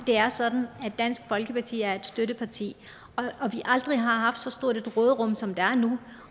det er sådan at dansk folkeparti er et støtteparti og at vi aldrig har haft så stort et råderum som vi har nu